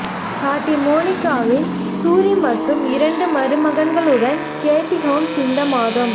சாட்டி மோனிகாவில் சூரி மற்றும் இரண்டு மருமகன்களுடன் கேட்டி ஹோம்ஸ் இந்த மாதம்